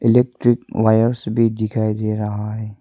Electric wires भी दिखाई दे रहा है।